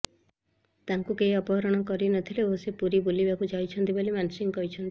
ତାଙ୍କୁ କେହି ଅପହରଣ କରି ନ ଥିଲେ ଓ ସେ ପୁରୀ ବୁଲିବାକୁ ଯାଇଥିଲେ ବୋଲି ମାନସିଂ କହିଛନ୍ତି